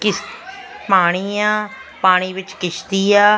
ਕਿਸ਼ ਪਾਣੀ ਆ ਪਾਣੀ ਵਿੱਚ ਕਿਸ਼ਤੀ ਆ --